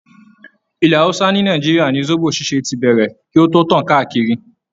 Ilẹ̀ hausa ni Nàìjíríà ni zobo ṣíṣe tí bẹ̀rẹ̀ kí o tó tàn káàkiri.